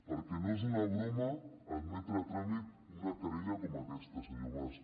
perquè no és una broma admetre a tràmit una querella com aquesta senyor mas